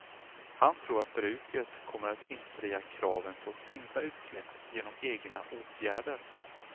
Han tror att bruket kommer att infria kraven på sänkta utsläpp genom egna åtgärder.